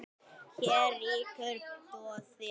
Hér ríkir doði.